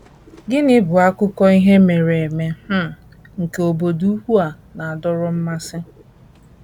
Gịnị bụ akụkọ ihe mere eme um nke obodo ukwu a na - adọrọ mmasị?